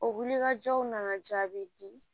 O wulikajɔw nana jaabi di